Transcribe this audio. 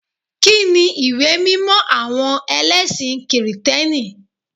Kíni ìwé mímọ àwọn ẹlẹ́sìn kìrìtẹ́nì?